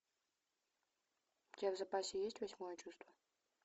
у тебя в запасе есть восьмое чувство